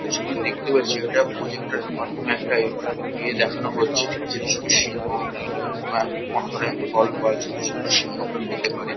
যে ছবিটা দেখতে পাচ্ছি ওটা প্রজেক্টার -এর মাধ্যমে একটা এ এ দেখানো হচ্ছে। ঠিক আছে? এটা ছোট সিনেমা হল নয় কোনো একটা কনফারেন্স হল বা ছোট ছোট সিনেমা হল -ও হতে পারে।